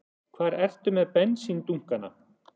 Hvar ertu með bensíndunkana?